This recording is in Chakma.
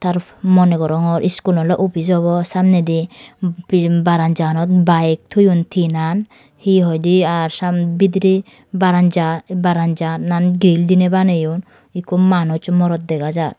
monegorongor skul noly office obo samnedi pibaramza bike toyon tinan he hoi dy r sam bidre baranza baranzanan gil dine baniyon ekko manus morot dega jar.